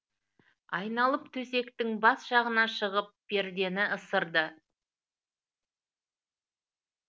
айналып төсектің бас жағына шығып пердені ысырды